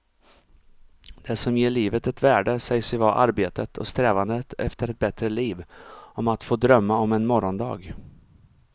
Det som ger livet ett värde sägs ju vara arbetet och strävandet efter ett bättre liv, om att få drömma om en morgondag.